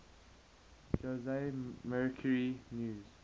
jose mercury news